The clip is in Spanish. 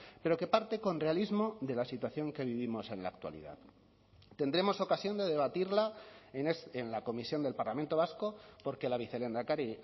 pero que parte con realismo de la situación que vivimos en la actualidad tendremos ocasión de debatirla en la comisión del parlamento vasco porque la vicelehendakari